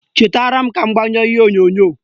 Chetara m ka m gbanyụọ ihe onyonyo